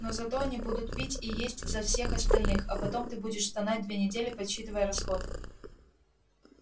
но зато они будут пить и есть за всех остальных а потом ты будешь стонать две недели подсчитывая расходы